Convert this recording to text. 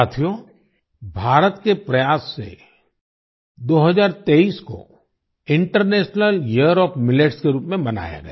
साथियो भारत के प्रयास से 2023 को इंटरनेशनल यियर ओएफ मिलेट्स के रूप में मनाया गया